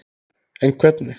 En hvernig?